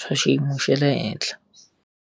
swa xiyimo xa le henhla.